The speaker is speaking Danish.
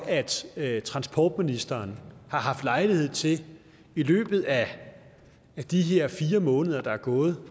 at transportministeren har haft lejlighed til i løbet af de her fire måneder der er gået